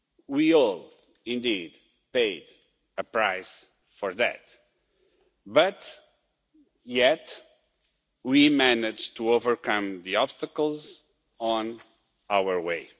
We all indeed paid a price for that, yet we managed to overcome the obstacles on our way.